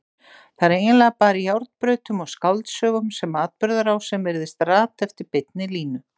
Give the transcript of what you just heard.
Það er eiginlega bara í járnbrautum og skáldsögum sem atburðarásin virðist rata eftir beinni línu.